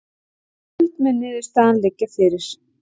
Í kvöld mun niðurstaðan liggja fyrir